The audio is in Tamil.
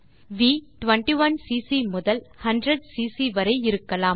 வி 21சிசி முதல் 100சிசி வரை இருக்கலாம்